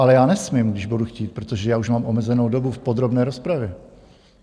Ale já nesmím, když budu chtít, protože já už mám omezenou dobu v podrobné rozpravě.